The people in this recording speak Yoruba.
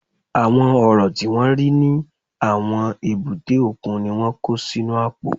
Àwọn Ọ̀rọ̀ tí wọ́n rí ní àwọn èbúté òkun ni wọ́n kó sínú àpò